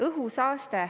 Õhusaaste.